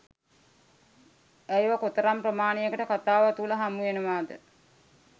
ඇයව කොතරම් ප්‍රමාණයකට කතාව තුල හමුවෙනවාද?